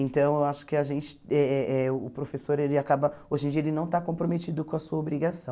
Então, eu acho que a gente, eh eh eh o professor, ele acaba, hoje em dia ele não está comprometido com a sua obrigação.